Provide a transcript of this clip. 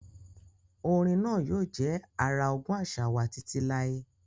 Orin náà yóò jẹ́ ara ogún àṣà wa títí láé.